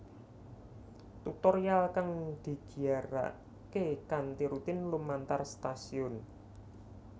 Tutorial kang digiyarake kanthi rutin lumantar stasiun